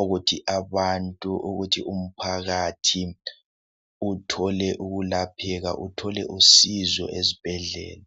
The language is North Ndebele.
ukuthi abantu ukuthi umphakathi uthole ukulapheka uthole usizo ezibhedlela